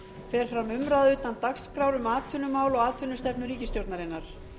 fer fram umræða utan dagskrár um atvinnumál og atvinnustefnu ríkisstjórnarinnar